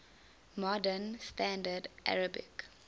modern standard arabic